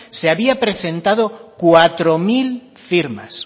se habían presentado cuatro mil firmas